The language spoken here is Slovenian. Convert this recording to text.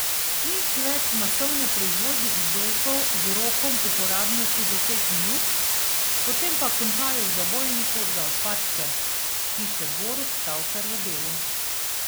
Nič več masovne proizvodnje izdelkov z rokom uporabnosti deset minut, potem pa končajo v zabojniku za odpadke, piše Borut Tavčar v Delu.